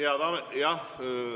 Aitäh!